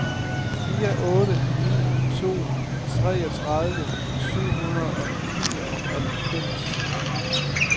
fire otte ni to treogtredive syv hundrede og nioghalvfems